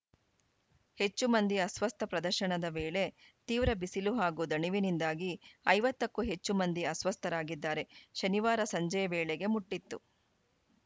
ಹೆಚ್ಚು ಮಂದಿ ಅಸ್ವಸ್ಥ ಪ್ರದರ್ಶನದ ವೇಳೆ ತೀವ್ರ ಬಿಸಿಲು ಹಾಗೂ ದಣಿವಿನಿಂದಾಗಿ ಐವತ್ತು ಕ್ಕೂ ಹೆಚ್ಚು ಮಂದಿ ಅಸ್ವಸ್ಥರಾಗಿದ್ದಾರೆ ಶನಿವಾರ ಸಂಜೆ ವೇಳೆಗೆ ಮುಟ್ಟಿತ್ತು